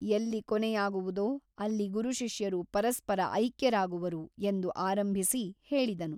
ಎಲ್ಲಿ ಕೊನೆಯಾಗುವುದೋ ಅಲ್ಲಿ ಗುರುಶಿಷ್ಯರು ಪರಸ್ಪರ ಐಕ್ಯರಾಗುವರು ಎಂದು ಆರಂಭಿಸಿ ಹೇಳಿದನು.